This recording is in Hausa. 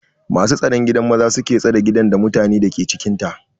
Masu staron gidan maza suke stare gidan, da mutanen dake cikinta.